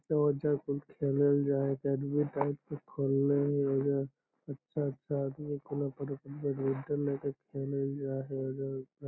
औजा कुल खेलल जा है अकैडमी टाइप के खोल ले है औजा अच्छा-अच्छा आदमी अपना पुर बैडमिंटन लेके खेलल --